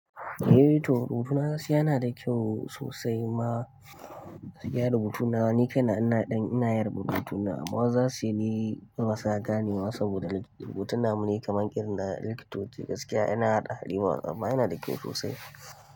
Eh toh rubutuna gaskiya yana da kyau sosai ma, gaskiya rubutuna ni kaina ina ɗan ina yin rubutuna amma wasu zasu yi ni ba sa ganewa saboda rubutun namu ne kaman irin na likitoci, gaskiya yana hada hadewa amma yana da kyau sosai.